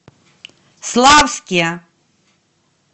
славске